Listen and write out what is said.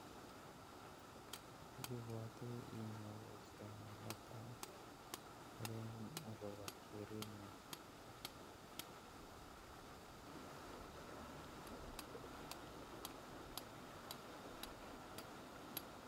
Ibwote iyoe boishoni netai, ororun agobo kerengung